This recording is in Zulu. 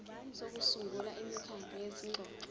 sokusungula imikhandlu yezingxoxo